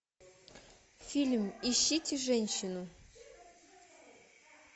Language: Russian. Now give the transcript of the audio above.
фильм ищите женщину